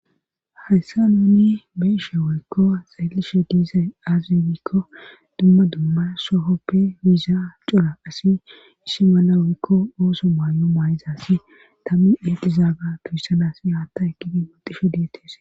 Hayssa nuuni be'ishshe woykko xeellishshe diizay aze gikko dumma dumma sohoppe yiza cora asi issi bolla woykko ooso maay'o maay'izasi tammi exizaaga tuhyssanasi haatta ekidi maxishe diyetes